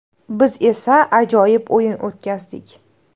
Biz esa ajoyib o‘yin o‘tkazdik.